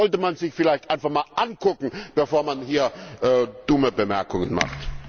Das sollte man sich vielleicht einfach mal anschauen, bevor man hier dumme Bemerkungen macht!